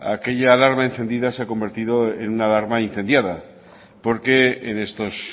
aquella alarma encendida se ha convertido en una alarma incendiada porque en estos